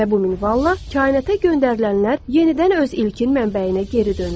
Və bu minvalla kainata göndərilənlər yenidən öz ilkin mənbəyinə geri dönür.